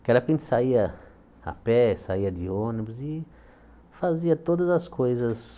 Naquela época a gente saía a pé, saía de ônibus e fazia todas as coisas.